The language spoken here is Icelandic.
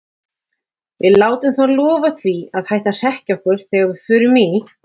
Við látum þá lofa því að hætta að hrekkja okkur þegar við förum í